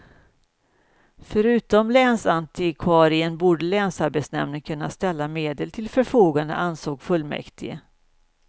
Förutom länsantikvarien borde länsarbetsnämnden kunna ställa medel till förfogande, ansåg fullmäktige.